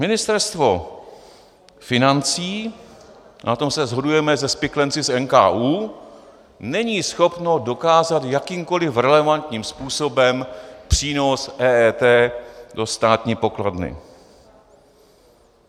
Ministerstvo financí, na tom se shodujeme se spiklenci z NKÚ, není schopno dokázat jakýmkoli relevantním způsobem přínos EET do státní pokladny.